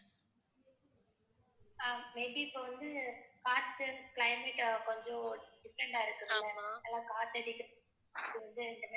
Ah may be இப்ப வந்து காத்து climate ஆஹ் கொஞ்சும் different ஆ இருக்குல. எல்லாம் காத்து அடிக்க